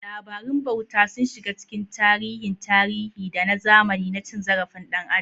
Labarun bauta sun shiga cikin tarihin tarihi da na zamani na cin zarafin ɗan adam.